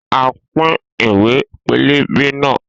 A pín ìwé pélébé náà